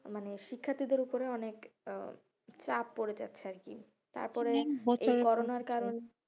মানে শিক্ষার্থীদের উপরে অনেক আহ চাপ পরে যাচ্ছে আরকি, তারপরে